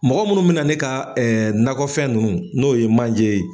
Mɔgɔ munnu bɛna na ne ka nakɔ fɛn nunnu n'o ye manje ye.